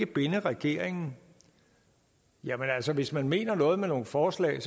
binde regeringen jamen altså hvis man mener noget med nogle forslag